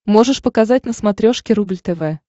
можешь показать на смотрешке рубль тв